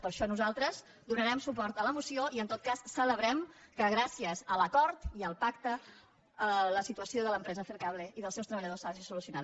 per això nosaltres donarem suport a la moció i en tot cas celebrem que gràcies a l’acord i al pacte la situació de l’empresa fercable i dels seus treballadors s’hagi solucionat